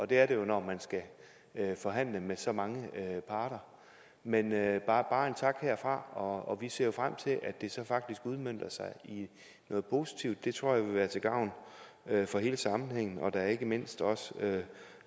det er det jo når man skal forhandle med så mange parter men det er bare en tak herfra og vi ser jo frem til at det så faktisk udmønter sig i noget positivt det tror jeg vil være til gavn for hele sammenhængen og da ikke mindst også